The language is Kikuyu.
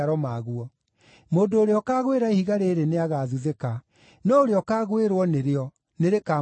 Mũndũ ũrĩa ũkaagwĩra ihiga rĩrĩ nĩagathuthĩka, no ũrĩa ũkaagwĩrwo nĩrĩo nĩrĩkamũthethera.”